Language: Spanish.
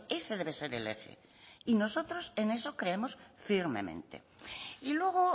ese debe ser el eje y nosotros en eso creemos firmemente y luego